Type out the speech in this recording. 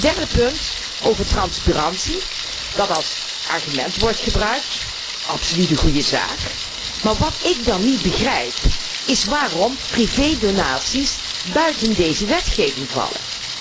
Derde punt, over transparantie, dat als argument wordt gebruikt absoluut een goede zaak maar wat ik dan niet begrijp is waarom particuliere donaties buiten deze wetgeving vallen.